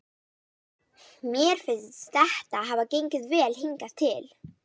Mér finnst þetta hafa gengið vel hingað til.